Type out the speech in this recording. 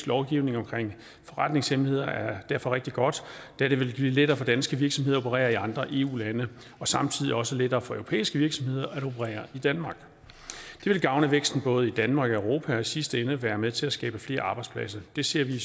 lovgivning omkring forretningshemmeligheder er derfor rigtig godt da det vil blive lettere for danske virksomheder at operere i andre eu lande og samtidig også lettere for europæiske virksomheder at operere i danmark det vil gavne væksten i både danmark og europa og i sidste ende være med til at skabe flere arbejdspladser det ser vi